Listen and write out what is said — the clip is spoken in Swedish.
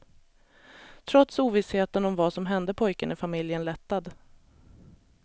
Trots ovissheten om vad som hände pojken är familjen lättad.